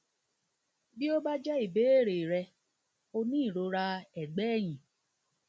bí ó bá ti jẹ ìbéèrè rẹ o ní ìrora ẹgbẹ ẹyìn